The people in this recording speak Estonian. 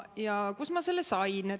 Ja kust ma selle sain?